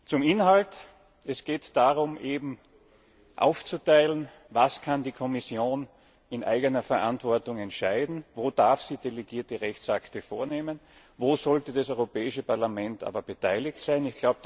Zum Inhalt Es geht darum festzulegen, was die Kommission in eigener Verantwortung entscheiden kann? Wo darf sie delegierte Rechtsakte erlassen? Wo sollte das Europäische Parlament aber beteiligt